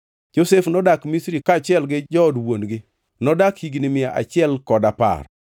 Josef nodak Misri, kaachiel gi jood wuon-gi. Nodak higni mia achiel kod apar.